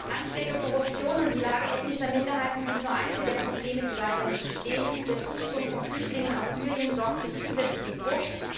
Anschläge, Korruption und die Lage ethnischer Minderheiten sind nur einige der Probleme, die weiterhin bestehen, der Zustrom von Flüchtlingen aus Syrien sorgt für zusätzlichen Druck.